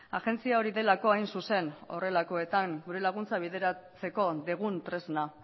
agentzia hori delako hain zuzen horrelakoetan gure laguntza bideratzeko dugun tresna